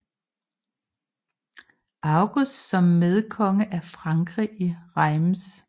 August som medkonge af Frankrig i Reims